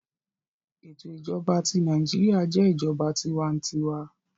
Eto ijọba ti Naijiria jẹ ijọba tiwantiwa